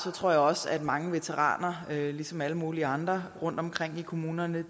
tror jeg også at mange veteraner ligesom alle mulige andre rundtomkring i kommunerne